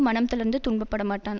மனம் தளர்ந்து துன்பப்படமாட்டான்